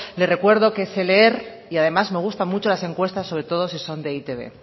le recuerdo que sé leer y además me gustan mucho las encuestas sobre todo si son de e i te be